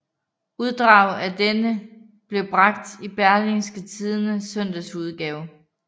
Uddrag af denne blev bragt i Berlingske Tidendes søndagsudgave